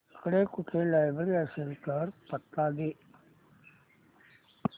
इकडे कुठे लायब्रेरी असेल तर पत्ता दे